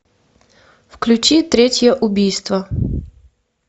включи третье убийство